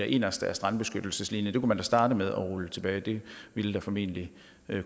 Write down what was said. inderst af strandbeskyttelseslinjen det kunne man da starte med at rulle tilbage det ville formentlig